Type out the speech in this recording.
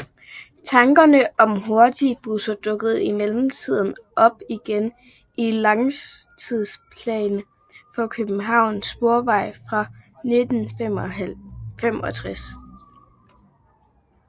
Tankerne om hurtigbusser dukkede imidlertid op igen i Langtidsplan for Københavns Sporveje fra 1965